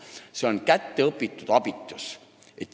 See on õpitud abitus.